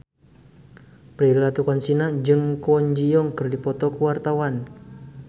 Prilly Latuconsina jeung Kwon Ji Yong keur dipoto ku wartawan